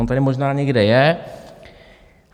On tady možná někde je.